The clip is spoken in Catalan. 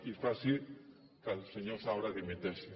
i faci que el senyor saura dimiteixi